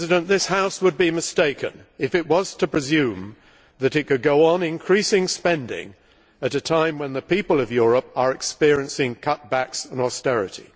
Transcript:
This House would be mistaken if it was to presume that it could go on increasing spending at a time when the people of Europe are experiencing cutbacks and austerity.